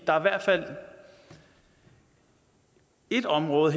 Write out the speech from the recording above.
der er i hvert fald et område